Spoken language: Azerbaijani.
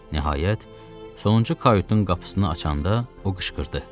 Nəhayət, sonuncu kayutun qapısını açanda o qışqırdı.